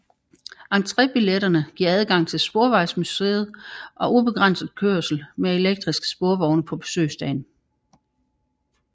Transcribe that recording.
Entrébilletterne giver adgang til Sporvejsmuseet og ubegrænset kørsel med elektriske sporvogne på besøgsdagen